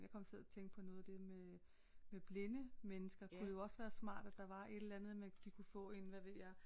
Jeg kom til at tænke på noget af det med med blinde mennesker kunne jo også være smart at der var et eller andet med de kunne få en hvad ved jeg